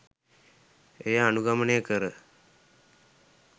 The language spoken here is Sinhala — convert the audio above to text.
එය අනුගමනය කර